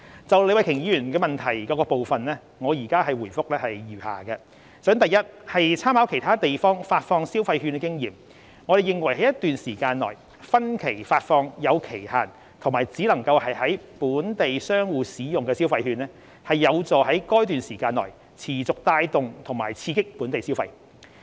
就李慧琼議員質詢的各部分，我現回覆如下：一參考其他地方發放消費券的經驗，我們認為在一段時間內分期發放有期限及只能在本地商戶使用的消費券，有助在該段時間內持續帶動及刺激本地消費。